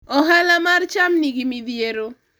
ohala mar cham nigi midhiero